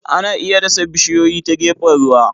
Ana iya dasa bishiyoyi ta gefen ruwa.